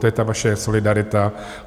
To je ta vaše solidarita.